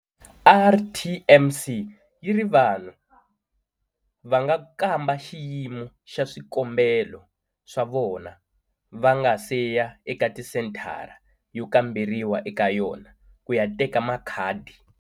RTMC yi ri vanhu va nga kamba xiyimo xa swikombelo swa vona va nga se ya eka tisenthara yo kamberiwa eka yona ku ya teka makhadi.